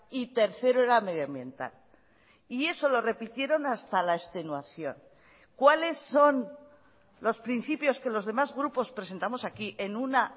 y tercero era medioambiental y eso lo repitieron hasta la extenuación cuáles son los principios que los demás grupos presentamos aquí en una